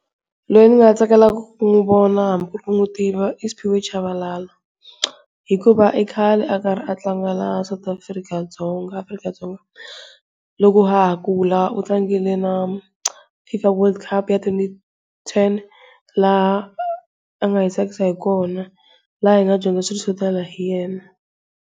Loyi ndzi nga tsakelaka ku n'wi vona hambi ku ri ku nwi tiva i Sphiwe Chabalala hikuva ikhale a karhi a tlanga laha South Africa Dzonga Afrika-Dzonga loko ha ha kula u tlangile na Fifa World Cup ya twenty ten laha a nga hi tsakisa hi kona laha hi nga dyondza swilo swo tala hi yena.